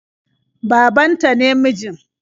Baban ta ne mijin.